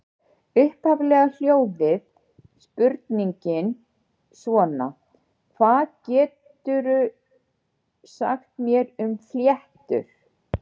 Upphaflega hljóðaði spurningin svona: Hvað geturðu sagt mér um fléttur?